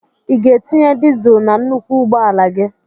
I ga-etinye dịzul na nnukwu ụgbọala gị?